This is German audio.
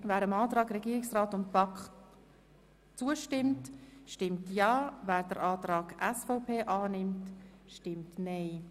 Wer dem Antrag Regierungsrat und BaK zustimmt, stimmt Ja, wer den Antrag SVP Guggisberg annimmt, stimmt Nein.